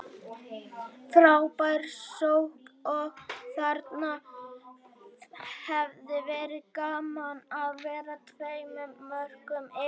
Frábær sókn og þarna hefði verið gaman að vera tveimur mörkum yfir.